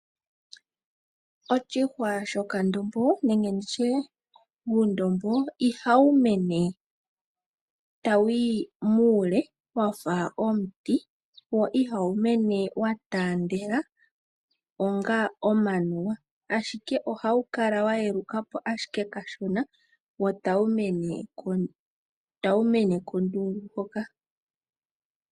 Oshihwa shokandombo nenge uundombo ihawu mene tawuyi muule wafa omiti wo ihawu mene wa taandele onga omanuwa , Ashike ohawu kala wa yelukapo ashike kashona wo tawu mene kondundu hoka.